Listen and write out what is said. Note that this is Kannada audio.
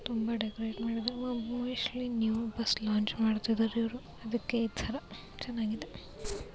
ತುಂಬಾ ಡೆಕೊರೇಟ್ ಮಾಡಿದಾರೆ ಮೊ-ಮೋಸ್ಟ್ಲಿ ನ್ಯೂ ಬಸ್ ಲಾಂಚ್ ಮಾಡ್ತಾ ಇದಾರೆ ಇವ್ರು ಅದಕ್ಕೆ ಈ ತರ ಚೆನ್ನಾಗಿದೆ.